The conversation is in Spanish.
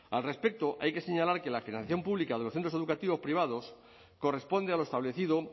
al respecto hay que señalar que la financiación pública de los centros educativos privados corresponde a lo establecido